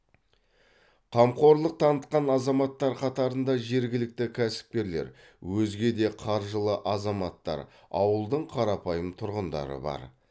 қамқорлық танытқан азаматтар қатарында жергілікті кәсіпкерлер өзге де қаржылы азаматтар ауылдың қарапайым тұрғындары бар